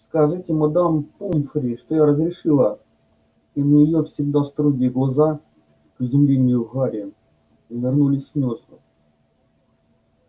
скажите мадам помфри что я разрешила и на её всегда строгие глаза к изумлению гарри навернулись слёзы